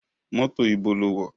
Mọ́tò ibo lo wọ̀?